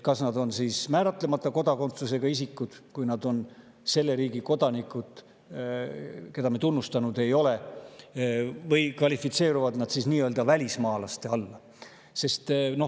Kas nad on siis määratlemata kodakondsusega isikud, kui nad on selle riigi kodanikud, keda me tunnustanud ei ole, või kvalifitseeruvad nad välismaalaste alla?